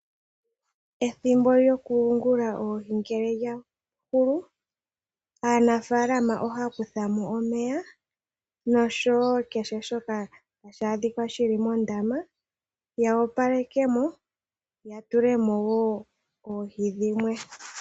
Ethimbo lyokuyungula oohi ngele lya hulu. Aanafaalama ohaya kuthamo omeya, noshowo kehe shoka hashi adhika shili mondama, yo opaleke mo, ya tulemo wo oohi dhimwe.